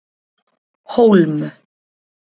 Hólm